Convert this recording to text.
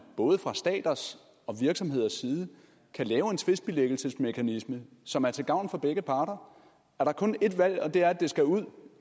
både fra staters og virksomheders side kan lave en tvistbilæggelsesmekanisme som er til gavn for begge parter er der kun ét valg og det er at det skal ud